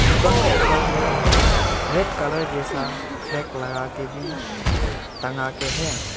दुकान का ऊपर में रेड कलर जैसा फ्लैग लगाके भी टंगा के हैं।